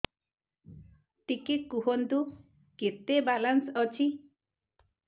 ଟିକେ କୁହନ୍ତୁ କେତେ ବାଲାନ୍ସ ଅଛି